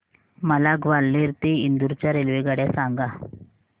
मला ग्वाल्हेर ते इंदूर च्या रेल्वेगाड्या सांगा